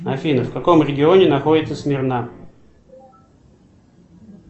афина в каком регионе находится смирна